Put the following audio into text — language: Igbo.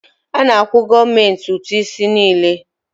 A na-akwụ gọọmenti ụtụ isi niile.